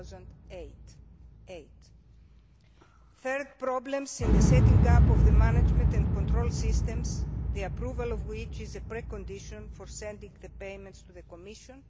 2008 thirdly, problems in setting up the management and control systems, the approval of which is the precondition for sending the payments to the Commission